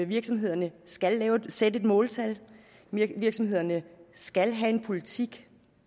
virksomhederne skal sætte et måltal og virksomhederne skal have en politik